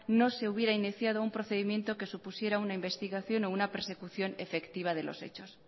no se hubiera iniciado un procedimiento que supusiera una investigación o una persecución efectiva de los hechos